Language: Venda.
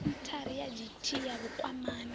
senthara ya dti ya vhukwamani